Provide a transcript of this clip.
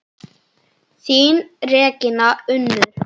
Þín Regína Unnur.